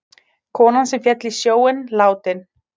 Konan sem féll í sjóinn látin